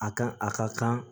A kan a ka kan